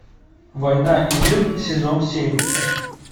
война и мир сезон семь